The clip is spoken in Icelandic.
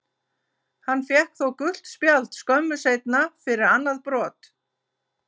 Hann fékk þó gult spjald skömmu seinna fyrir annað brot.